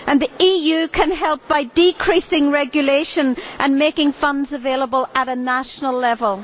The EU can help by decreasing regulation and making funds available at a national level.